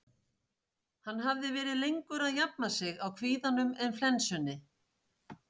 Hann hafði verið lengur að jafna sig á kvíðanum en flensunni.